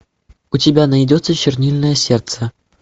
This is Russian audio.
у тебя найдется чернильное сердце